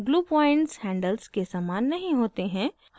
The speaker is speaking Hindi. glue points handles के समान नहीं होते हैं